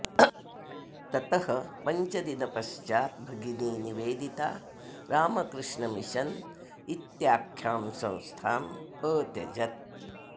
ततः पञ्चदिनपश्चात् भगिनी निवेदिता रामकृष्ण मिशन् इत्याख्यां संस्थाम् अत्यजत्